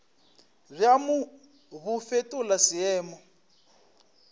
bja mo bo fetola semelo